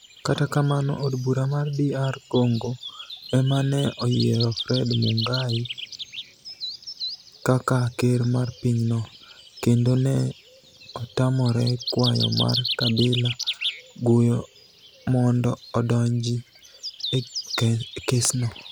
Kata kamano, Od bura mar DR Conigo ema ni e oyiero Fred Munigai kaka ker mar piny no, kenido ni e otamore kwayo mar Kabila Guyo monido odonijni e gi kesno.